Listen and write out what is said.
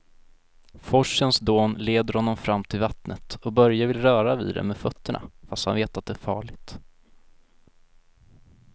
Forsens dån leder honom fram till vattnet och Börje vill röra vid det med fötterna, fast han vet att det är farligt.